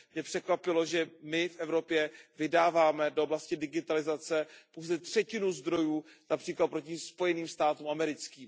Mě překvapilo, že my v Evropě vydáváme do oblasti digitalizace pouze třetinu zdrojů, například proti Spojeným státům americkým.